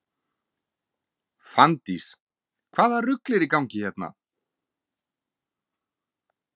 Fanndís: Hvaða rugl er í gangi hérna?